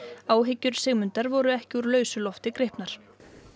áhyggjur Sigmundar voru ekki úr lausu lofti gripnar